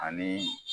Ani